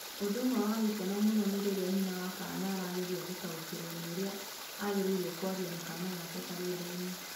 Ũndũ ũmwe wa gĩkeno mũno nĩ rĩrĩa nyina wa kaana arageria gũtaũkĩrũo nĩ ũrĩa agĩrĩirũo kwaria na kaana gake karĩa nda-inĩ.